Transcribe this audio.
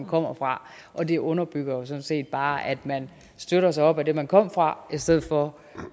kommer fra og det underbygger jo sådan set bare at man støtter sig op af det man kom fra i stedet for